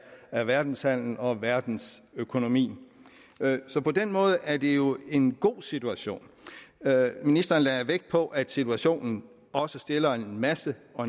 af verdenshandelen og verdensøkonomien så på den måde er det jo en god situation ministeren lagde vægt på at situationen også stiller en masse